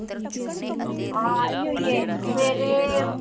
ਹਾਂ ਆਈ ਹੋਈ ਏ ਸਵੇਰੇ